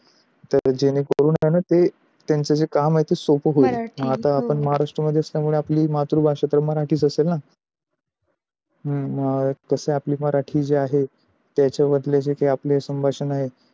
तर जेणे करून त्यांच जे काम आहे सो प होईल. आता आपण महाराष्ट्र मधले तर आपली मातृभाषा मराठीस असल ना. हम्म तसे आपली मराठी जे आहे त्याच्या वरचे जे संभाषण आहे